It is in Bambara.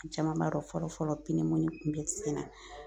Caman b'a dɔn fɔlɔ fɔlɔ kun be sen na.